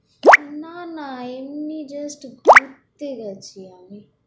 না, না এমনি just ঘুরতে গেছি আমি, "